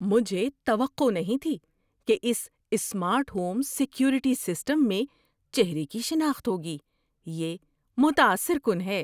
مجھے توقع نہیں تھی کہ اس سمارٹ ہوم سیکیورٹی سسٹم میں چہرے کی شناخت ہوگی۔ یہ متاثر کن ہے!